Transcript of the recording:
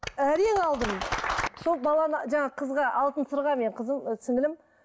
әрең алдым сол баланы жаңа қызға алтын сырға мен қызым сіңлілім